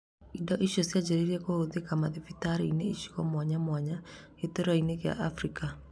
Indo icio cianjĩrĩirie kũhũthĩka mathibitarĩ-inĩ icigo mwanya mwanya gĩtaroinĩ kĩa Afrika